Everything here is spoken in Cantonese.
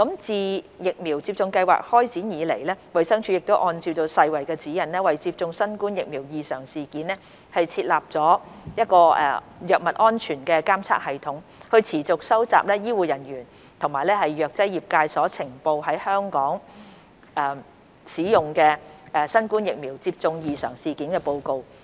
自疫苗接種計劃開展以來，衞生署按照世衞的指引，為接種新冠疫苗異常事件設立藥物安全監測系統，持續收集醫護人員及藥劑業界所呈報在香港使用的新冠疫苗接種異常事件報告。